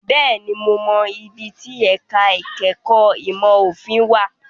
Bẹ́ẹ̀ni, mo mọ ibi tí ẹ̀ka ìkẹ́kọ̀ọ́ ìmọ̀ òfin wà.